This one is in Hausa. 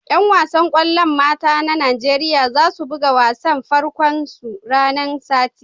Yan wasan kwallon mata na Nijeriya za su buga wasan farko'n su ranan Sati.